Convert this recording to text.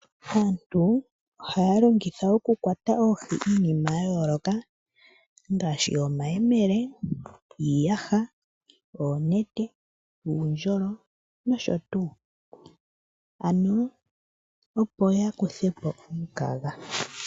Aantu ohaya longitha okukwata oohi iinima yayooloka ngaashi omayemele, iiyasha , oonete, uundjolo nosho tuu ano opo yakuthepo omikaga.